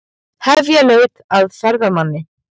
Hefja leit að ferðamanni